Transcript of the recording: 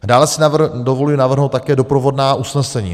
Dále si dovoluji navrhnout také doprovodná usnesení.